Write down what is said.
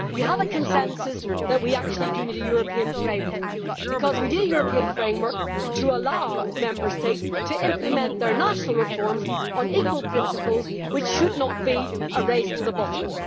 We have a consensus that we actually do need a European framework, because we need a European framework to allow Member States to implement their national reforms on equal principles which should not be a race to the bottom.